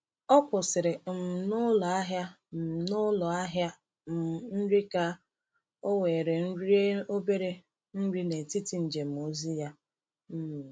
Ọ kwụsịrị um n’ụlọ ahịa um n’ụlọ ahịa um nri ka ọ were rie obere nri n’etiti njem ozi ya. um